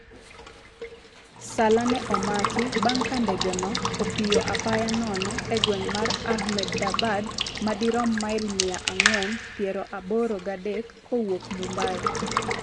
Salla ne omaki bang' ka ndege no opiyo appya nono e gweng' mar Ahmedabad, madirom mail miya ang'wen piero aboro gi adek kowuok Mumbai.